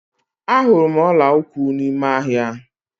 Ahụrụ m ọla ụkwụ n'ime ahịa.